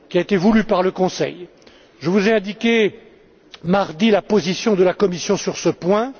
Il a été voulu par le Conseil. Je vous ai indiqué mardi la position de la Commission sur ce point.